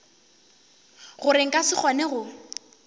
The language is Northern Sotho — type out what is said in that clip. gore nka se kgone go